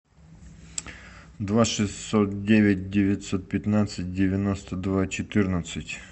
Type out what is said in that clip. два шестьсот девять девятьсот пятнадцать девяносто два четырнадцать